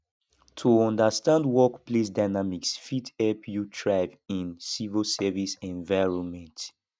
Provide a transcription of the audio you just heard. to understand workplace dynamics fit help you thrive in civil service environment